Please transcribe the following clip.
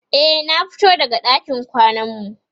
e na fito daga ɗakin kwanan mu